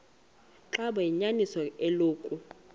xaba liyinyaniso eloku